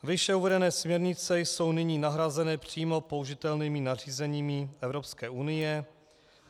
Výše uvedené směrnice jsou nyní nahrazeny přímo použitelnými nařízeními Evropské unie.